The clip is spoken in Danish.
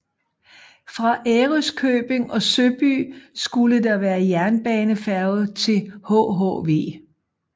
Fra Ærøskøbing og Søby skulle der være jernbanefærge til hhv